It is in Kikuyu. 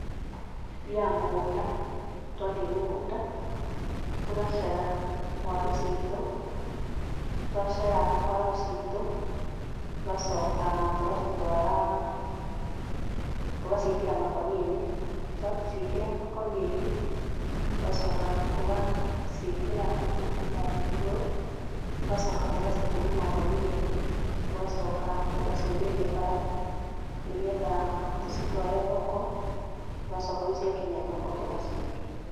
Tũthiaga mũgũnda, twathiĩ mũgũnda tũgacera waru citũ, twacera waru citũ tũgacoka tũgacitwara, tũgaciĩkĩra makũnia-inĩ, twaciĩkĩra makũnia-inĩ tũgacoka tũgaciĩkĩra mahuti haha igũrũ, tũgacoka tũgacituma na ngũnia ĩngĩ, tũgacoka tũgaciumĩria bara nĩgetha tũcitware thoko, tũgacoka rĩu ciakinya thoko tũgaciendia.